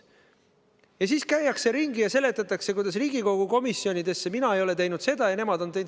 Ja siis käiakse ringi ja seletatakse, kuidas mina ei ole Riigikogu komisjonides teinud seda ja nemad on.